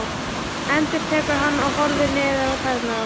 endurtekur hann og horfir niður á tærnar á sér.